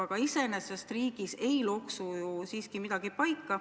Aga iseenesest ei loksu riigis ju siiski midagi paika.